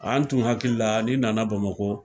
An tun hakili la ni nana bamakɔ